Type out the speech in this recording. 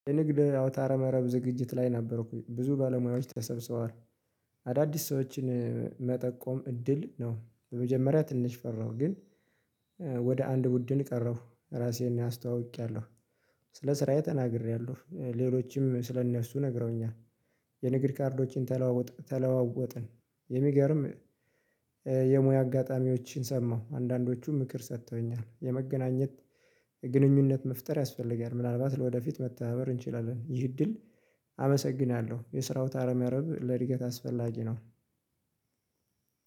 የንግድ አውታረ መረብ ዝግጅት ላይ ነበርኩኝ ብዙ ባለሙያዎች ተሰብስበዋል። አዳዲስ ሰዎችን መጠቆም እድል ነው። በመጀመሪያ ትንሽ ፈራሁ ግን ወደ አንድ ቡድን ቀረብኩ ራሴን አስተዋውቄያለሁ። ስለ ስራዬ ተናግሬያለሁ ሌሎችም ስለ እነሱ ነግረውኛል። የንግድ ካርዶችን ተለዋወጥ ተለዋወጥን የሚገርም የሙያ አጋጣሚዎችን ሰማሁ። አንዳንዶቹ ምክር ሰጥተውኛል የመገናኘት ግንኙነት መፍጠር ያስፈልጋል። ምናልባት ለወደፊት መተባበር እንችላለን። ይህ እድል። አመሰግናለሁ የስራ አውታረ መረብ ለእድገት አስፈላጊ ነው።